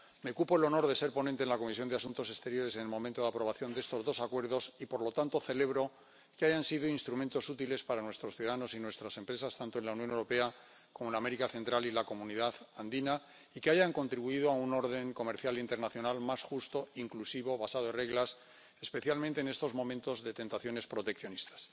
Me cupo el honor de ser ponente de la Comisión de Asuntos Exteriores en el momento de aprobación de estos dos acuerdos y, por lo tanto, celebro que hayan sido instrumentos útiles para nuestros ciudadanos y nuestras empresas tanto en la Unión Europea como en América Central y la Comunidad Andina y que hayan contribuido a un orden comercial internacional más justo, inclusivo y basado en reglas, especialmente en estos momentos de tentaciones proteccionistas.